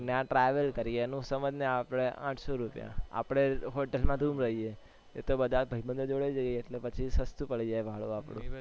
ત્યાં travel કરીએ એનું સમજને આપડે આઠ સો રૂપિયા આપડે hotel માં રૂમ લઈએ એ તો બધા ભાઈબંધો જોડે જઈએ એટલે પછી સસ્તું પડી જાય ભાડું આપડું